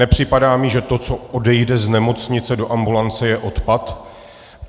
Nepřipadá mi, že to, co odejde z nemocnice do ambulance, je odpad.